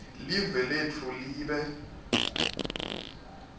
live letfu libe